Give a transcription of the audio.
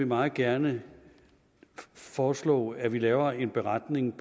meget gerne foreslå at vi laver en beretning